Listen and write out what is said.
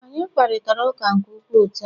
Anyị kparịta ụka nke ukwuu taa